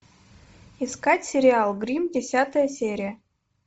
искать сериал гримм десятая серия